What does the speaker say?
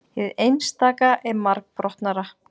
hið einstaka er margbrotnara